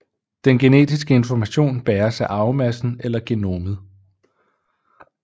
Den genetiske information bæres af arvemassen eller genomet